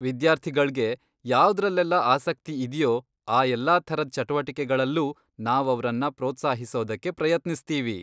ವಿದ್ಯಾರ್ಥಿಗಳ್ಗೆ ಯಾವ್ದ್ರಲ್ಲೆಲ್ಲ ಆಸಕ್ತಿ ಇದ್ಯೋ ಆ ಎಲ್ಲಾ ಥರದ್ ಚಟುವಟಿಕೆಗಳಲ್ಲೂ ನಾವವ್ರನ್ನ ಪ್ರೋತ್ಸಾಹಿಸೋದಕ್ಕೆ ಪ್ರಯತ್ನಿಸ್ತೀವಿ.